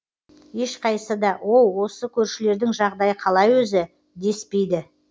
ешқайсысы да оу осы көршілердің жағдайы қалай өзі деспейді